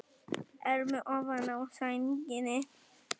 Elmu ofan á sænginni.